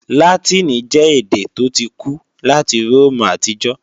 Látìnì jẹ́ èdè tó ti kú láti Róòmù àtijọ́